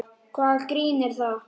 Hvaða grín er það?